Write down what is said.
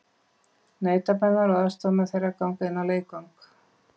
Nautabanar og aðstoðarmenn þeirra ganga inn á leikvang.